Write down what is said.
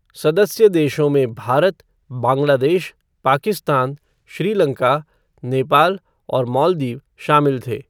सदस्य देशों में भारत, बांग्लादेश, पाकिस्तान, श्रीलंका, नेपाल और मालदीव शामिल थे।